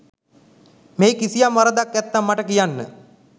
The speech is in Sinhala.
මෙහි කිසියම් වරදක් ඇත්නම් මට කියන්න.